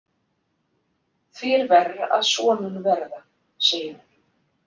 Því er verr að svo mun verða, segir hún.